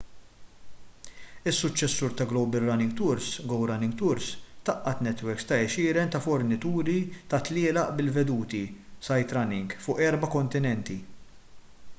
is-suċċessur ta’ global running tours go running tours tgħaqqad netwerks ta’ għexieren ta’ fornituri ta’ tlielaq bil-veduti sightrunning” fuq erba’ kontinenti